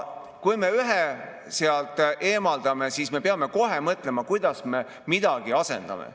Kui me ühe sealt eemaldame, siis peame kohe mõtlema, kuidas me midagi asendame.